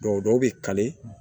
dɔw bɛ kari